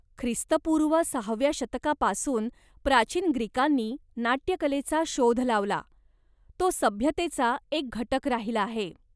ख्रिस्तपूर्व सहाव्या शतकापासून प्राचीन ग्रीकांनी नाट्यकलेचा शोध लावला, तो सभ्यतेचा एक घटक राहिला आहे.